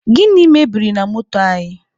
Gịnị mebiri na moto anyị?